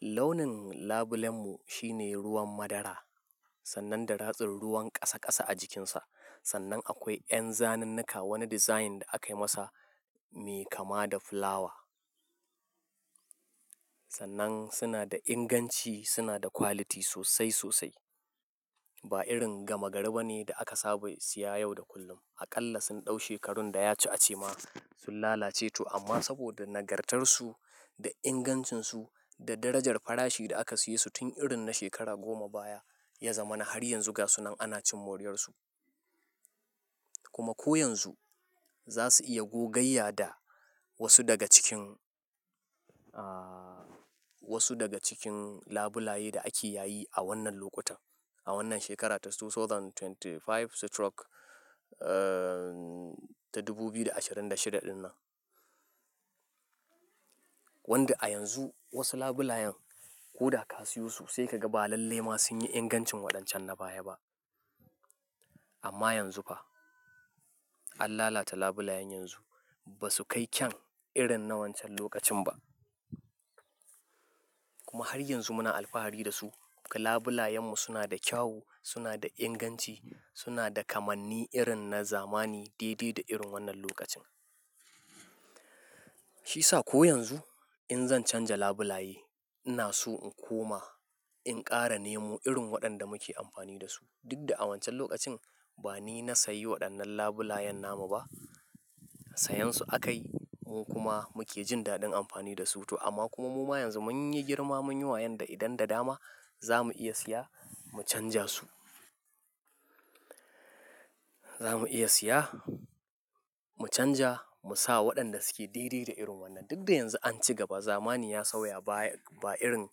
Launin labulen mu shine ruwan madara, sannan da ratsin ruwan kasa kasa a jikinsa. Sannan akwai ƴan zanenuka, wani design da aka yi masa me kama da flower. Sannan suna da inganci, suna da quality sosai sosai. Ba irin gama garba ne da aka saba siya yau da kullum. Aƙalla sun ɗau shekarun da ya ci a ce ma sun lalace to amma saboda nagartarsu da ingancinsu da darajar farashi da aka siye su tun irin na shekara goma baya ya zama na har yanzu ga su nan ana cin moriyar su. Kuma ko yanzu za su iya gogayya da wasu daga cikin, wasu daga cikin labulaye da ake yayi a wannan lokuta, a wannan shekara ta two thousand twenty five stroke, ta dubu biyu da ashirin da shida dinnan. Wanda a yanzu wasu labulayan ko ka siyo su sai ka ga ba lalle ma sun yi ingancin waɗancan na baya ba. Amma yanzu fa, an lalata labulayan yanzu, ba su kai kyan irin na wancan lokacin ba. Kuma har yanzu muna alfahari da su. Kuma labulayen mu suna da kyawu, suna da inganci, suna da kamanni irin na zamani daidai da irin wannan lokacin. Shi sa ko yanzu in zan canja labulaye ina so in koma in ƙara nemo irin waɗanda muke amfani da su. Duk da a wancan lokacin ba ni na sayi waɗannan labulayan nama ba, sayan su akayi kuma muke jin daɗin amfani da su to amma kuma muma yanzu mun yi girma mun yi wayanda idan da dama za mu iya siya mu canja su. Za mu iya siya mu canja mu sa waɗanda suke daidai da irin wannan. Duk da yanzu an ci gaba, zamani ya sauya baya, ba irin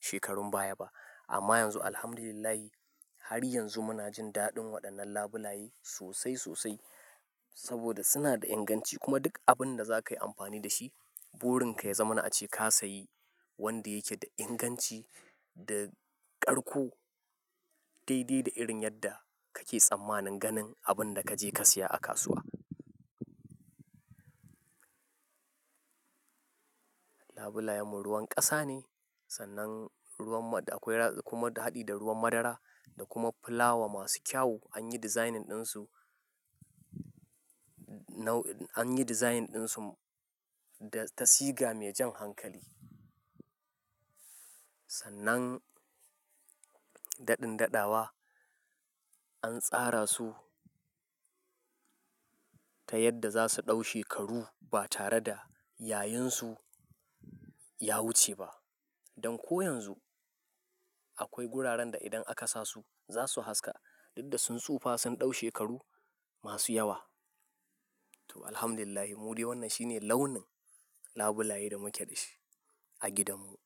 shekarun baya ba. Amma yanzu Alhamdulillah har yanzu muna jin daɗin waɗannan labulaye sosai sosai saboda suna da inganci kuma duk abin da za ka yi amfani da shi burin ka ya zama na ace ka sayi wanda yake da inganci da karko daidai da irin yadda kake tsammanin ganin abin da kaje ka siya a kasuwa. Labulayen mu ruwan ƙasa ne, sannan ruwan ma akwai kuma haɗi da ruwan madara da kuma flower masu kyawu an yi designing ɗin su, nau an yi designing ɗin su da tasiga mai jan hankali. Sannan daɗin daɗawa an tsara su ta yadda za su ɗau shekaru ba tare da yayun su ya wuce ba. Don ko yanzu akwai guraren da idan aka sa su za su haska duk da sun tsufa sun ɗau shekaru masu yawa. To Alhamdulillah muri wannan shine launin labulaye da muke da shi a gidan mu.